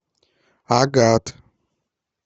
агат